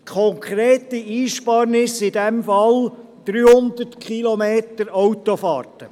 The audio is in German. Konkrete Einsparung in diesem Fall: 300 Kilometer Autofahrt.